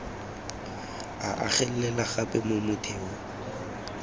o agelela gape mo motheong